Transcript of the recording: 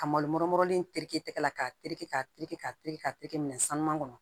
Ka malo in terikɛ la k'a tereke k'a tereke k'a tereke k'a te kɛ minɛ sanu kɔnɔ